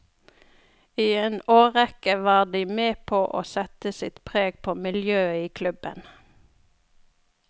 I en årrekke var de med på å sette sitt preg på miljøet i klubben.